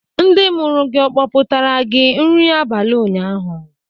Ndị mụrụ gị kpọpụtara gị nri abalị ụnyaahụ?